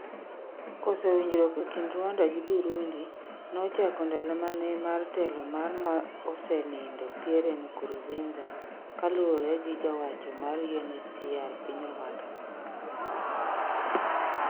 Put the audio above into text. Koso winjruok e kind Rwanda gi Burundi nochako ndalo manene mar telo mar mosenindo Pierre Nkurunziza kaluwore gi ja wacho mar UNHCR piny Ruanda